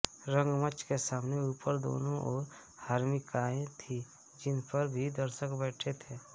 रंगमंच के सामने ऊपर दोनों ओर हर्मिकाएँ थीं जिनपर भी दर्शक बैठते थे